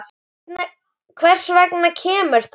Hvers vegna kemur það?